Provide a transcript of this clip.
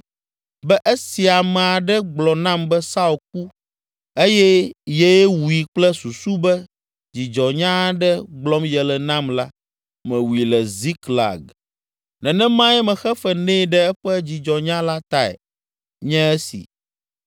be esi ame aɖe gblɔ nam be Saul ku eye yee wui kple susu be dzidzɔnya aɖe gblɔm yele nam la, mewui le Ziklag. Nenemae mexe fe nɛ ɖe eƒe dzidzɔnya la tae nye esi!